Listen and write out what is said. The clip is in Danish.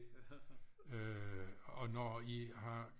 og når i har